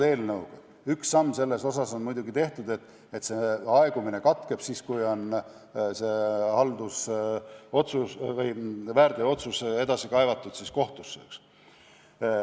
Eelnõuga on üks samm muidugi tehtud, aegumine katkeb siis, kui väärteootsus on edasi kaevatud kohtusse.